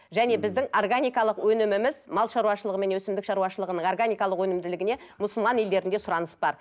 және біздің органикалық өніміміз мал шаруашылығы мен өсімдік шаруашылығының органикалық өнімділігіне мұсылман елдерінде сұраныс бар